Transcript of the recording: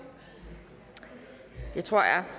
det tror jeg